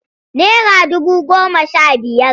Nera dubu goma sha biyar.